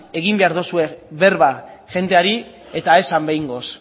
egin behar dozue berba jendeari eta esan behingoz